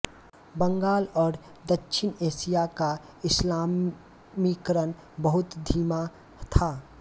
बंगाल और दक्षिण एशिया का इस्लामीकरण बहुत धीमा था